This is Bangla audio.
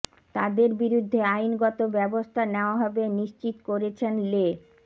তাদের বিরুদ্ধে আইনগত ব্যবস্থা নেওয়া হবে নিশ্চিত করেছেন লে